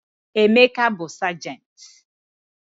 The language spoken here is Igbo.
Emeka bụ sajenti.